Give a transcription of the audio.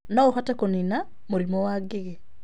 no ũhote kũniina mũrimũ wa ngigĩ